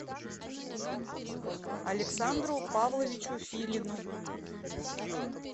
александру павловичу филину